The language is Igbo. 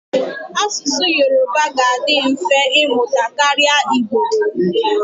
Asụsụ Yoruba ga-adị mfe ịmụta karịa Igbo.